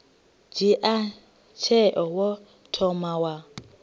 dzhia tsheo wo thoma wa